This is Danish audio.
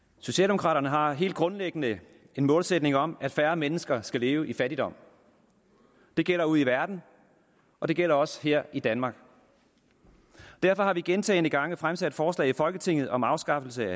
socialdemokraterne har helt grundlæggende en målsætning om at færre mennesker skal leve i fattigdom det gælder ude i verden og det gælder også her i danmark derfor har vi gentagne gange fremsat forslag i folketinget om afskaffelse